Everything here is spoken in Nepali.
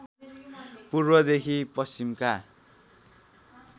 पूर्वदेखि पश्चिमका